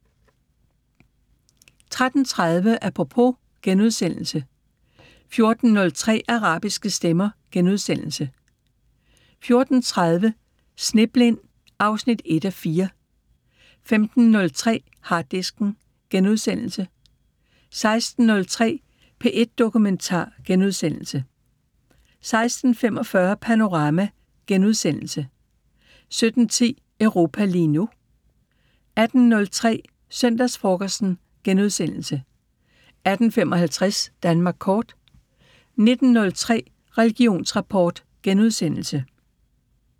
13:30: Apropos * 14:03: Arabiske stemmer * 14:30: Sneblind 1:4 (Afs. 1) 15:03: Harddisken * 16:03: P1 Dokumentar * 16:45: Panorama * 17:10: Europa lige nu 18:03: Søndagsfrokosten * 18:55: Danmark kort 19:03: Religionsrapport *